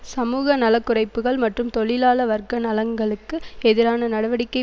சமூகநலக்குறைப்புகள் மற்றும் தொழிலாள வர்க்க நலன்களுக்கு எதிரான நடவடிக்கை